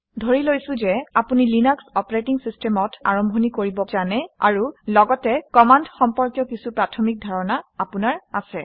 ধৰি লৈছোঁ যে আপুনি লিনাক্স অপাৰেটিং চিষ্টেমত কেনেকৈ আৰম্ভণি কৰিব পাৰে সেই বিষয়ে জানে আৰু লগতে কমাণ্ড সম্পৰ্কীয় কিছু প্ৰাথমিক ধাৰণা আপোনাৰ আছে